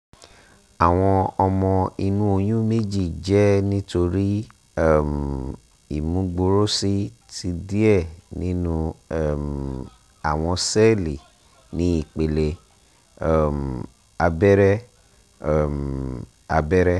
awọn ọmọ inu oyun meji jẹ nitori um imugboroosi ti diẹ ninu um awọn sẹẹli ni ipele um abẹrẹ um abẹrẹ